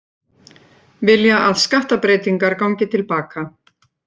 Vilja að skattabreytingar gangi til baka